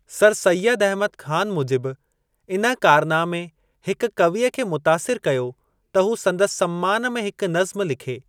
Sir Syed Ahmad Khan मूजिब, इन कारनामे हिक कविअ खे मुतासिर कयो त हू संदसि सम्मान में हिक नज़्म लिखे।